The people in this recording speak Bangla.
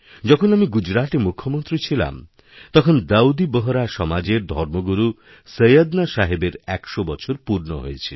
যখন আমি গুজরাটে মুখ্যমন্ত্রী ছিলাম তখনদাউদি বোহরা সমাজএর ধর্মগুরু সৈয়দনা সাহেবের একশ বছর পূর্ণ হয়েছিল